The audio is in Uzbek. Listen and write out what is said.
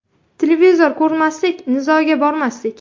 Televizor ko‘rmaslik, nizoga bormaslik.